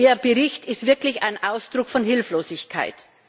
Ihr Bericht ist wirklich ein Ausdruck von Hilflosigkeit.